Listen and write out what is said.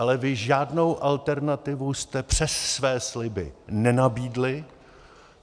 Ale vy žádnou alternativu jste přes své sliby nenabídli.